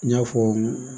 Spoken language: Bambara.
N y'a fɔ